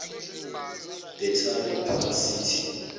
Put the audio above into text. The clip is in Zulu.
battery park city